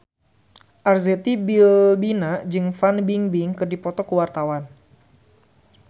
Arzetti Bilbina jeung Fan Bingbing keur dipoto ku wartawan